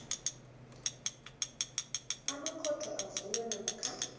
amakhotho avulwa namkha